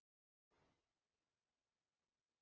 En hverjar yrðu afleiðingarnar?